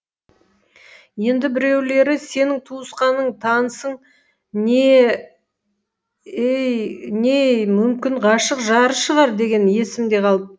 енді біреулері сенің туысқаның танысың не ей мүмкін ғашық жары шығар дегені есімде қалып